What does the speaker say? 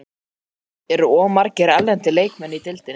Álitið: Eru of margir erlendir leikmenn í deildinni?